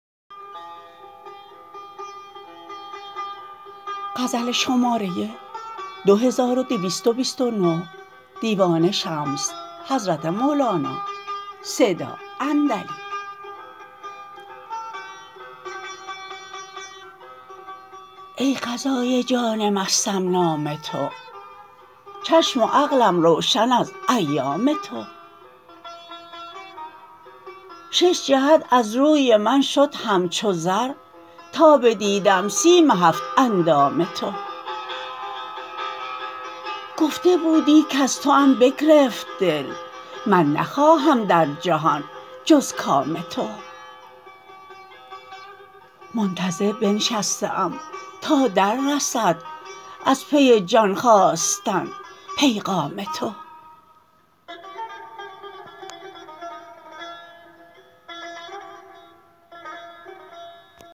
ای غذای جان مستم نام تو چشم و عقلم روشن از ایام تو شش جهت از روی من شد همچو زر تا بدیدم سیم هفت اندام تو گفته بودی کز توام بگرفت دل من نخواهم در جهان جز کام تو منتظر بنشسته ام تا دررسد از پی جان خواستن پیغام تو